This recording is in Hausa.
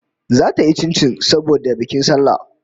Zata yi chinchin saboda bikin sallah